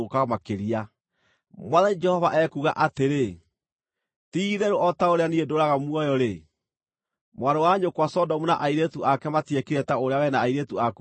Mwathani Jehova ekuuga atĩrĩ: Ti-itherũ o ta ũrĩa Niĩ ndũũraga muoyo-rĩ, mwarĩ wa nyũkwa Sodomu na airĩtu ake matiekire ta ũrĩa wee na airĩtu aku mwĩkĩte.